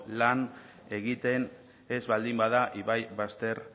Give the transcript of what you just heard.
lan egiten ez baldin bada ibai bazter